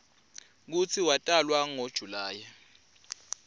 kutsi watalwa ngo july